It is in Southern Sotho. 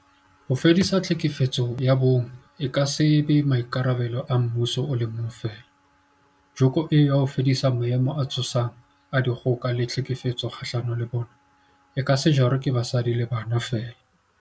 Ho fedisa tlhekefetso ya bong e ka se be maikarabelo a mmuso o le mong feela, joko eo ya ho fedisa maemo a tshosang a dikgoka le tlhekefetso kgahlano le bona, e ka se jarwe ke basadi le bana feela.